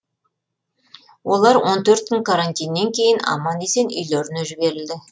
олар он төрт күн карантиннен кейін аман есен үйлеріне жіберілді